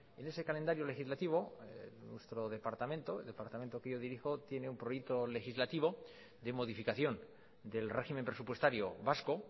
en ese calendario legislativo nuestro departamento el departamento que yo dirijo tiene un proyecto legislativo de modificación del régimen presupuestario vasco